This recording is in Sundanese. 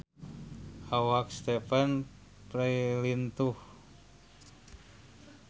Awak Stephen Fry lintuh